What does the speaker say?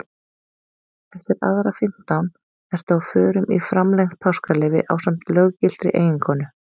Eftir aðra fimmtán ertu á förum í framlengt páskaleyfi ásamt löggiltri eiginkonu.